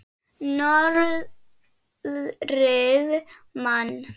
Norðrið man.